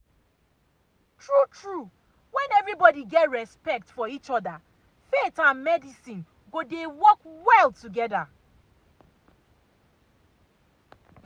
true true when everybody get respect for each other faith and medicine go dey work well together.